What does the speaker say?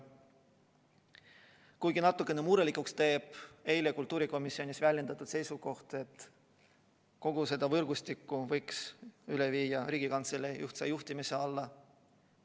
Kuigi natukene murelikuks teeb eile kultuurikomisjonis väljendatud seisukoht, et kogu selle võrgustiku võiks üle viia Riigikantselei ühtse juhtimise alla.